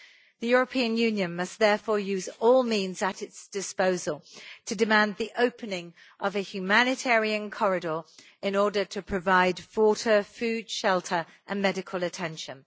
The European Union must therefore use all means at its disposal to demand the opening of a humanitarian corridor in order to provide water, food, shelter and medical attention.